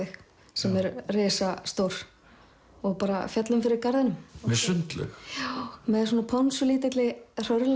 sem er risastór og bara féllum fyrir garðinum með sundlaug já með ponsulítilli hrörlegri